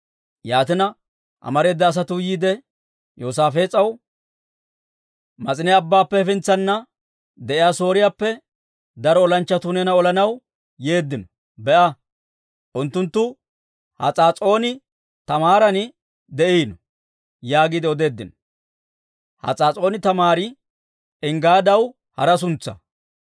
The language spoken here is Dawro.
Yaatina, amareeda asatuu yiide Yoosaafees'aw, «Mas'ine Abbaappe hefintsana de'iyaa Sooriyaappe daro olanchchatuu neena olanaw yeeddino. Be'a, unttunttu Has'aas'ooni-Taamaaran de'iino» yaagiide odeeddino. (Has'aas'ooni-Taamaari Enggaadaw hara suntsaa.)